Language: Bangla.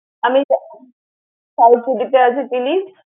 আমি যাবো South City তে আছে Chili's ।